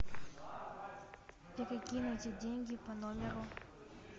перекинуть деньги по номеру